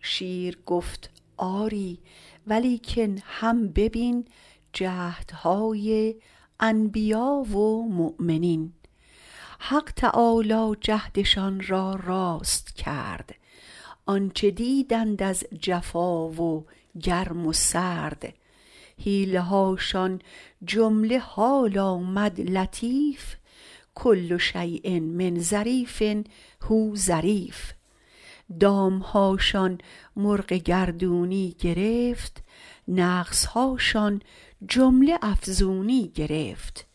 شیر گفت آری ولیکن هم ببین جهد های انبیا و مؤمنین حق تعالی جهد شان را راست کرد آنچه دیدند از جفا و گرم و سرد حیله هاشان جمله حال آمد لطیف کل شیء من ظریف هو ظریف دام هاشان مرغ گردونی گرفت نقص هاشان جمله افزونی گرفت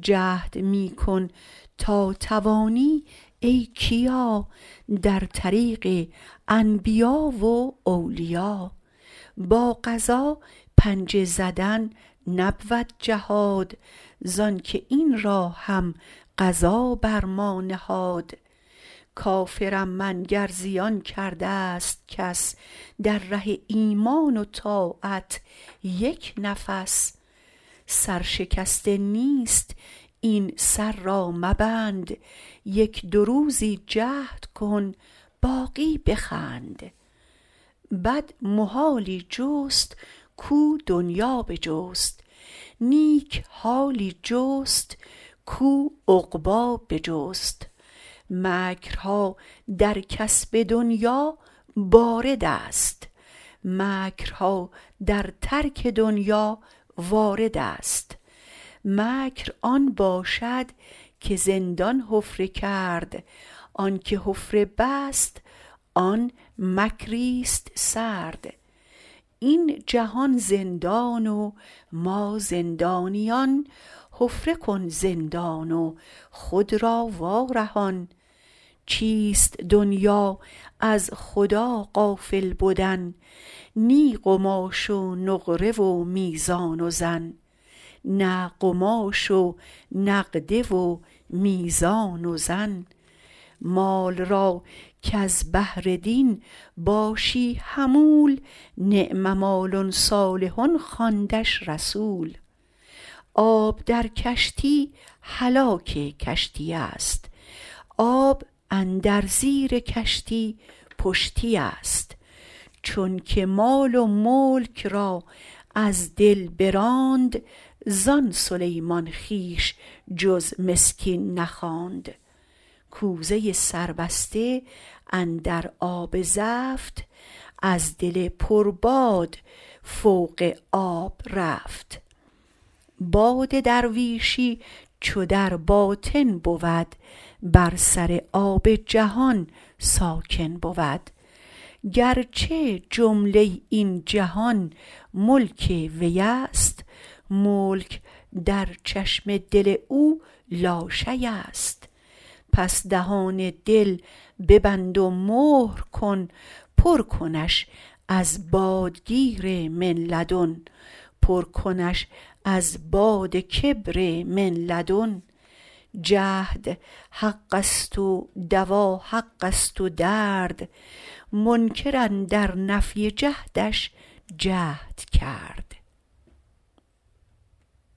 جهد می کن تا توانی ای کیا در طریق انبیاء و اولیا با قضا پنجه زدن نبود جهاد زانکه این را هم قضا بر ما نهاد کافر م من گر زیان کرده ست کس در ره ایمان و طاعت یک نفس سر شکسته نیست این سر را مبند یک دو روزک جهد کن باقی بخند بد محالی جست کاو دنیا بجست نیک حالی جست کاو عقبی بجست مکر ها در کسب دنیا بارد است مکر ها در ترک دنیا وارد است مکر آن باشد که زندان حفره کرد آنکه حفره بست آن مکری ست سرد این جهان زندان و ما زندانیان حفره کن زندان و خود را وا رهان چیست دنیا از خدا غافل بدن نه قماش و نقده و میزان و زن مال را کز بهر دین باشی حمول نعم مال صالح خواندش رسول آب در کشتی هلاک کشتی است آب اندر زیر کشتی پشتی است چونکه مال و ملک را از دل براند زان سلیمان خویش جز مسکین نخواند کوزه سربسته اندر آب زفت از دل پر باد فوق آب رفت باد درویشی چو در باطن بود بر سر آب جهان ساکن بود گر چه جمله این جهان ملک وی ست ملک در چشم دل او لاشی ست پس دهان دل ببند و مهر کن پر کنش از باد کبر من لدن جهد حق ست و دوا حق ست و درد منکر اندر نفی جهد ش جهد کرد